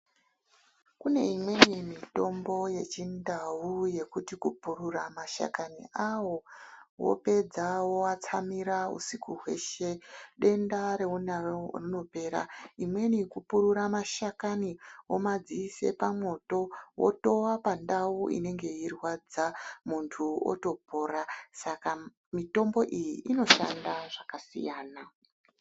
Kune imweni mitombo yeChindau yekuti kupurura mashakani awo wopedza woatsamira usiku hweshe denda reunaro rinopera. Imweni kupurura mashakani womadziise pamwoto wotowa pandau inenge yeirwadza muntu otopora. Saka mitombo iyi inoshanda zvakasiyana.